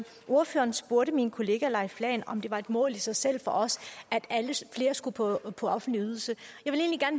ordføreren spurgte min kollega leif lahn jensen om det var et mål i sig selv for os at flere skulle på offentlig ydelse